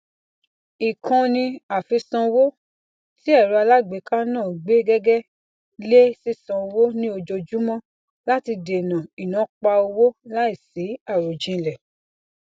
ikanni afisanwo ti ẹrọ alágbèéká náà gbé gege le sisan owo ni ojoojúmọ láti dènà inaapa owo laisi arojinlẹ